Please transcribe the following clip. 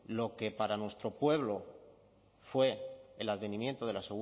lo que para nuestro pueblo fue el advenimiento de la